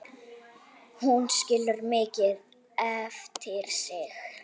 Hún skilur mikið eftir sig.